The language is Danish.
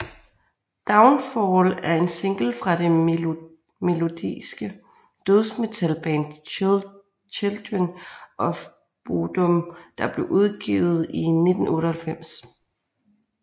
Downfall er en single fra det melodiske dødsmetalband Children of Bodom der blev udgivet i 1998